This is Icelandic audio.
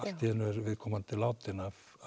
er viðkomandi látinn vegna